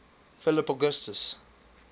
philip augustus